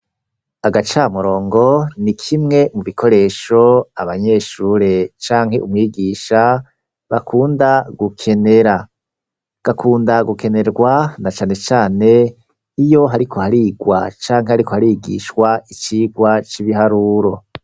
Agacamurongo ni kimwe mu bikoresho abanyeshure canke umwigisha bakunda gukenera, gakunda gukenerwa na cane cane iyo hariko harigwa canke hariko harigishwa icigwa c'ibiharuro.